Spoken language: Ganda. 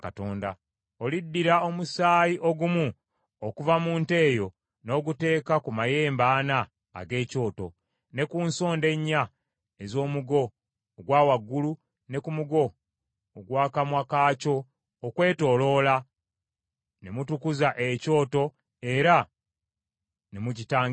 Oliddira omusaayi ogumu okuva mu nte eyo n’oguteeka ku mayembe ana ag’ekyoto, ne ku nsonda ennya ez’omugo ogwa waggulu ne ku mugo ogwa kamwa kaakyo okwetooloola, ne mutukuza ekyoto era ne mu kitangirira.